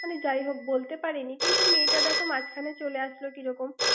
মানে যাই হোক বলতে পারিনি। কিন্তু মেয়েটা দেখ মাঝখানে চলে আসলে কী রকম?